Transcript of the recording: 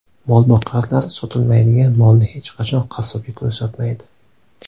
Molboqarlar sotilmaydigan molni hech qachon qassobga ko‘rsatmaydi .